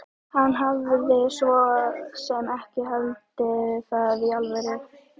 Hann hafði svo sem ekki haldið það í alvöru.